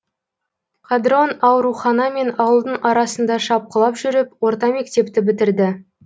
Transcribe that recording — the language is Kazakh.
қадрон аурухана мен ауылдың арасында шапқылап жүріп орта мектепті бітірді